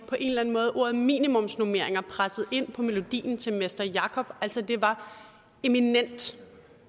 ordet minimumsnormeringer presset ind på melodien til mester jacob altså det var eminent